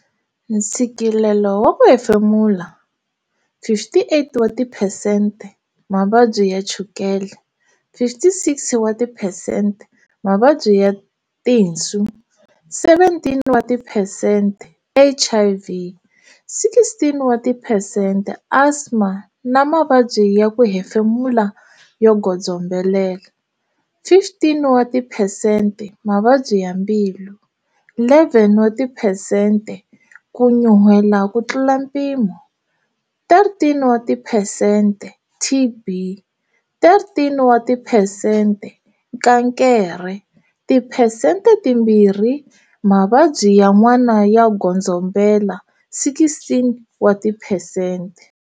Ntshikilelo wa ku hemfemula, 58 wa tiphesente Mavabyi ya Chukele, 56 wa tiphesente Mavabyi ya tinswu, 17 wa tiphesente HIV, 16 wa tiphesente Asma na mavabyi ya ku hemfemula yo godzombela, 15 wa tiphesente Mavabyi ya mbilu, 11 wa tiphesente ku nyuhela ku tlula mpimo, 13 wa tiphesente TB, 13 wa tiphesente Kankere, tiphesente timbirhi Mavabyi yan'wana yo godzombela, 16 wa tiphesente.